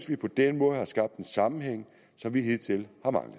vi på den måde har skabt en sammenhæng som vi hidtil